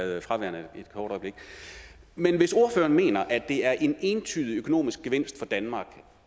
været fraværende et kort øjeblik men hvis ordføreren mener at det er en entydig økonomisk gevinst for danmark